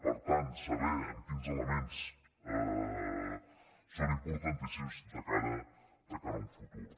per tant saber quins elements són importantíssims de cara a un futur